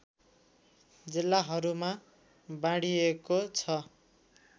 जिल्लाहरूमा बाँडिएको छ